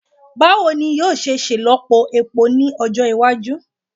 Bawo ni yoo ṣe ṣelọpọ epo ni ọjọ iwaju